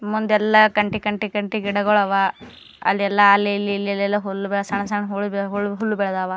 ಮುಂದೆಲ್ಲ ಕಂತೆ ಕಂತೆ ಕಂತೆ ಗಿಡಗಳು ಆವಾ ಅಲ್ಲಿ ಎಲ್ಲ ಅಲ್ಲಿ ಇಲ್ಲಿ ಎಲ್ಲ ಸಣ್ಣ ಸಣ್ಣ ಹುಲ್ಲು ಬೆಳೆದವ.